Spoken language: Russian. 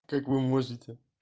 как вы можете